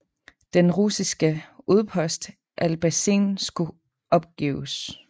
Den russiske udpost Albazin skulle opgives